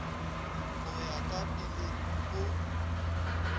go ya ka pilir o